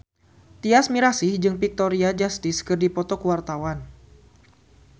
Tyas Mirasih jeung Victoria Justice keur dipoto ku wartawan